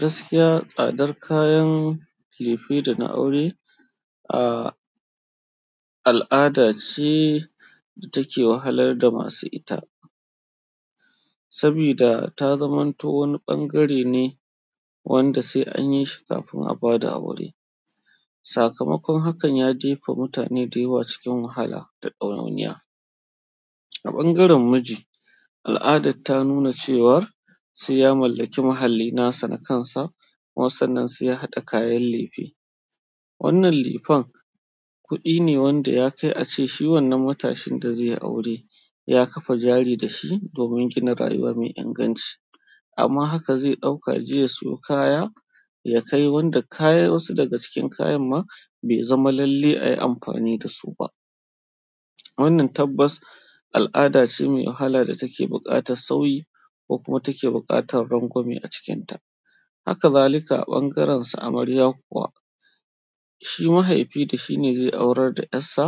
Gaskiya, tsadar kayan lefe da na aure, a al'ada ce da take wahalar da masu ita. Saboda ta zamanto wani ɓangare ne wanda sai an yi shi kafin a bada aure. Sakamakon hakan ya jefa mutane dayawa cikin wahala da ɗawainiya. A ɓangaren miji, al'ada ta nuna cewa sai ya mallaki muhalli nasa na kansa, kuma sannan sai ya haɗa kayan lefe. Wannan lefen, kuɗi ne wanda ya kai a ce shi wannan matashin da zai yi aure ya ƙafa jari da shi domin gina rayuwa mai inganci. Amma haka zai ɗauka ya je ya sayo kaya ya kai wanda kaya wasu daga cikin kayan ma bai zama lallai ayi amfani da su ba. Wannan tabbas al'ada ce mai wahala da take buƙatar sauyi, ko kuma take buƙatar rangwame a cikinta. Haka zalika a ɓangaren su amarya kuma, shi mahaifi da shi ne zai aurar da 'yar sa,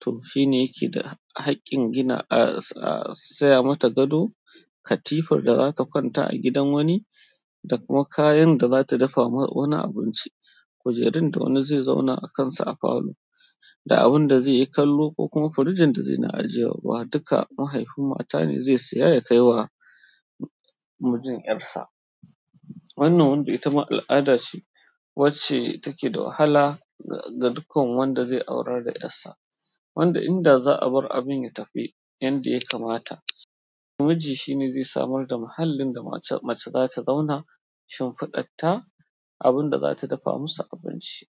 toh shi ne yake da haƙƙin gina, a saya mata gado, katifar da zata kwanta a gidan wani, da kuma kayan da zata dafa ma wani abinci, kujerun da wani zai zauna a kansa a falo, da abun da zai yi kallo ko kuma firijin da zai na ajiye ruwa, duka mahaifin mata ne zai saya ya kai wa mijin 'yar sa. Wannan wanda ita ma al'ada ce wacce take da wahala ga dukkan wanda zai aurar da 'yar sa. Wanda inda za'a bar abin ya tafi yanda ya kamata. Miji shi ne zai samar da mahallin da mace za ta zauna, shimfiɗar ta, abun da za ta dafa masa abinci.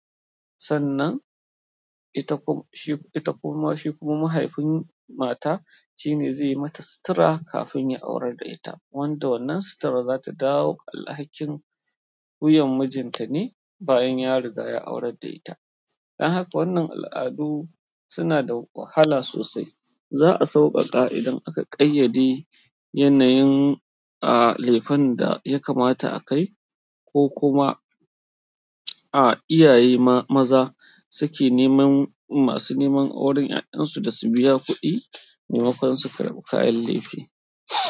Sannan ita kuma shi kuma mahaifin mata shi ne zai yi mata sutura kafin ya aurar da ita. Wanda wannan sutura za ta dawo alhakin wuyan mijinta ne bayan ya riga ya aurar da ita. Dan haka wannan al'adu suna da wahala sosai. Za'a sauƙaƙa idan aka ƙayyade yanayin a lefen da ya kamata a kai, ko kuma a iyaye maza suke neman masu neman auren 'ya'yan su da su biya kuɗi maimakon su karɓi kayan lifi.